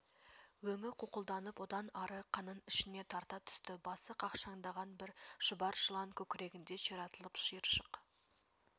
өңі қуқылданып одан ары қанын ішіне тарта түсті басы қақшаңдаған бір шұбар жылан көкірегінде ширатылып шиыршық